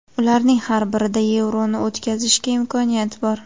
Ularning har birida Yevroni o‘tkazishga imkoniyat bor”.